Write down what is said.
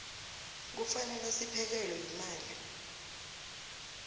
kufanele siphekelwe yimali